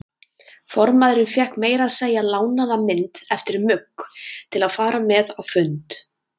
Formaðurinn fékk meira að segja lánaða mynd eftir Mugg til að fara með á fund.